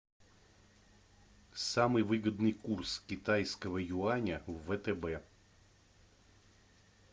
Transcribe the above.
самый выгодный курс китайского юаня в втб